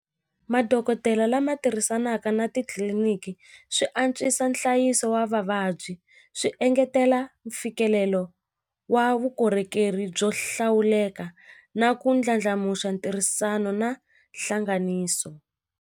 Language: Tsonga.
Madokodela lama tirhisanaka na titliliniki swi antswisa nhlayiso wa vavabyi swi engetela mfikelelo wa vukorhokeri byo hlawuleka na ku ndlandlamuxa ntirhisano na hlanganiso.